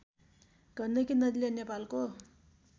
गण्डकी नदीले नेपालको